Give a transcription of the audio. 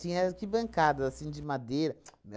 Tinha aqui bancada, assim, de madeira. Ts não é